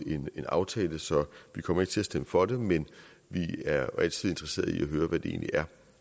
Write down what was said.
en aftale så vi kommer ikke til at stemme for det men vi er altid interesserede i at høre hvad det egentlig er